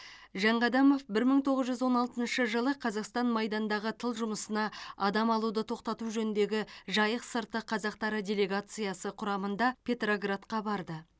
жанқадамов бір мың тоғыз жүз он алтыншы жылы қазақстан майдандағы тыл жұмысына адам алуды тоқтату жөніндегі жайық сырты қазақтары делегациясы құрамында петроградқа барды